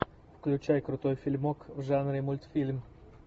включай крутой фильмок в жанре мультфильм